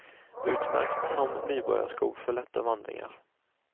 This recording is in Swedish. Utmärkt som nybörjarsko för lätta vandringar.